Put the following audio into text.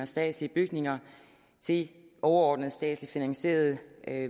statslige bygninger til overordnede statslig finansierede